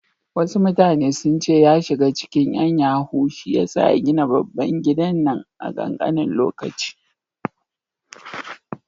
Wasu mutane sun ce ya shiga cikin ƴan yahoo shiyasa ya gina babban gidan nan a ƙanƙanin lokaci.